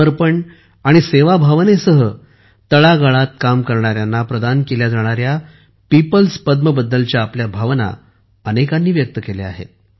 समर्पण आणि सेवाभावनेसह तळागाळात काम करणाऱ्यांना प्रदान केल्या जाणाऱ्या पीपल्स पद्म बद्दलच्या आपल्या भावना अनेकांनी व्यक्त केल्या आहेत